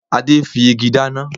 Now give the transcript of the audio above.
Adé fi igi dáná